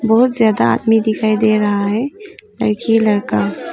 बहुत ज्यादा आदमी दिखाई दे रहा है लड़की लड़का--